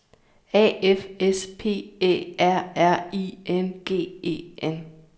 A F S P Æ R R I N G E N